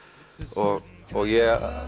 og